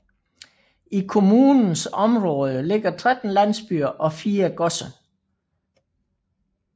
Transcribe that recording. I kommunens område ligger 13 landsbyer og fire godser